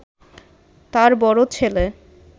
তার বড় ছেলে